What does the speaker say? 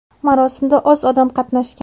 Marosimda oz odam qatnashgan.